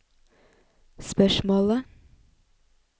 spørsmålet